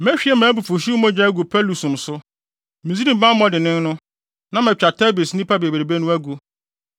Mehwie mʼabufuwhyew agu Pɛlusum so, Misraim bammɔ dennen no, na matwa Tebes nnipa bebrebe no agu.